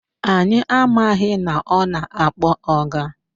Anyị amaghị na ọ na-akpọ ọga